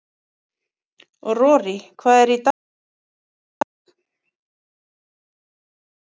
Rorí, hvað er í dagatalinu mínu í dag?